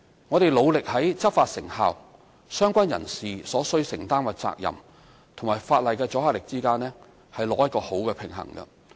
我們努力在執法成效、相關人士所需承擔的責任和法例的阻嚇力之間，取得適當的平衡。